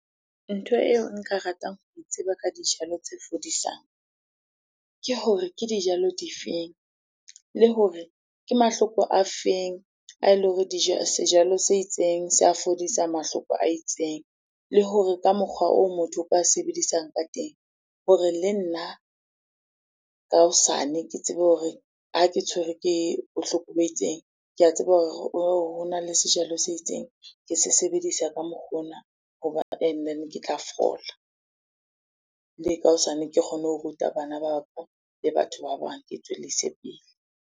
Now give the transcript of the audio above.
Ntho eo nka ratang ho e tseba ka dijalo tse fodisang ke hore ke dijalo di feng? Le hore ke mahloko a feng a ele hore sejalo se itseng se a fodisa mahloko a itseng? Le hore ka mokgwa oo motho o ka sebedisang ka teng hore le nna ka hosane ke tsebe hore ha ke tshwerwe ke bohloko bo itseng, ke a tseba hore hona le sejalo se itseng, ke se sebedisa ka mokgwa ona hoba and then, ke tla fola. Le ka hosane ke kgone ho ruta bana ba ka le batho ba bang, ke e tswellise pele.